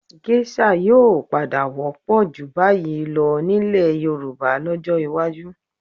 Gésà yóò padà wọ́pọ̀ jù báyìí lọ nílẹ̀ Yorùbá lọ́jọ́ iwájú